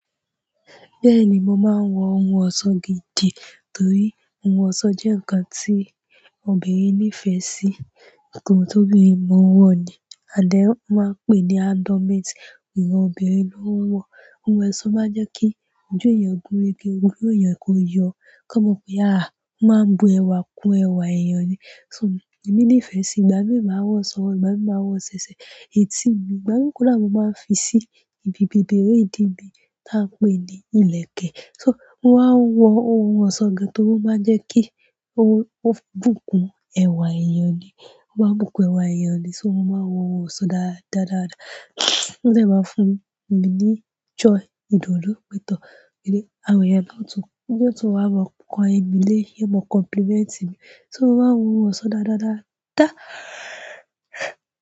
Bẹ́ẹ̀ni, mo máa ń wọ ohun ọ̀ṣọ́ gidi torí ohun ọ̀ṣọ́ jẹ́ ǹkan tí obìnrin nífẹ̀ẹ́ sí. Nkàn tó bínrin mo ń wọ ni and then won máa ń pè ní andromede, ìhan obìnrin ló ń wọ. Ohun ọ̀ṣọ́ máa ń jẹ́ kí ojú èèyàn gúnrégé, ogun èèyàn kó yọ, kí wọ́n mọ̀ pé àá, a máa ń bu ẹwà kún ẹwà èèyàn ni. So, èmi nífẹ̀ẹ́ sí, ìgbà mí máa wọ sọ́wo, ìgbà mi máa wọ ṣẹ̀ṣẹ̀, èt tí mi, ìgbà mi kódà mo máa ń fi sí ibi bèbèré ìdí mi tá a ń pè ní ìlẹ̀kẹ̀. So, mo máa ń wọ ohun ọ̀ṣọ́ gan torí ó máa ń jẹ́ kí ó bùkún ẹwà èèyàn ni, ó máa ń bùkún ẹwà èèyàn ni. So, mo ma n wo ohun ọ̀ṣọ́ dáadáa, o de ma n fún mi ni joy, idunu pe tor, àwọn eyan yo tun wa ma ponmile yo ma complement mi so, mo máa ń wọ ohun ọ̀ṣọ́ dáadáa, dáadáa.